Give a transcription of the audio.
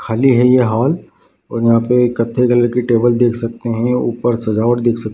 खाली है यहाँ और यहाँ पे कथे कलर की टेबल देख सकते है ऊपर सजावट देख सक --